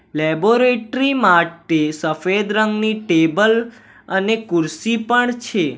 Laboratory માટે સફેદ રંગની ટેબલ અને કુર્સી પણ છે.